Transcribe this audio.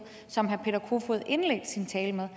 som herre peter kofod indledte sin tale med